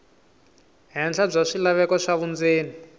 henhla bya swilaveko swa vundzeni